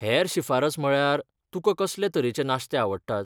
हेर शिफारस म्हळ्यार, तुकां कसले तरेचें नाश्ते आवडटात?